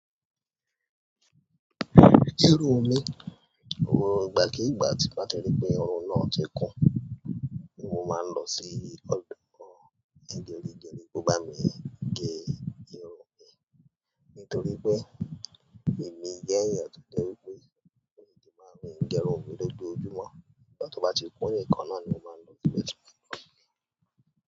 Irú omi, ohun ìgbà kii gba t' bá ti rí pé oorun náà ti kún, mo máa ń lọ sí ọ̀dọ̀ gẹ́rigẹ́ri kó bá mi gẹ irun mi. Nítorí pé èmi jẹ́ èèyàn tó jẹ́ wípé mi ò lè máa rí ń gé irun mi lójoojúmọ́. Nígbà tó bá ti kún nìkan náà ni mo máa ń lọ sí wẹ́sítà ń bá mi gé irun.